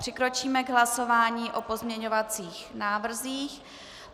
Přikročíme k hlasování o pozměňovacích návrzích.